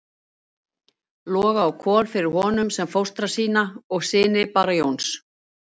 Loga og Kol fyrir honum sem fóstra sína og syni Bara Jóns.